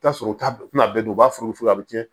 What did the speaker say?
I bi t'a sɔrɔ u t'a kuma bɛɛ u b'a furu a bɛ cɛn